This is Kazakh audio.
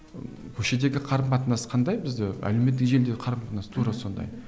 ы көшедегі қарым қатынас қандай бізде әлеуметтік желіде қарым қатынас тура сондай